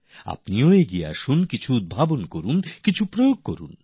আপনিও এগিয়ে আসুন কিছু উদ্ভাবন করুন কিছু রূপায়ন করুন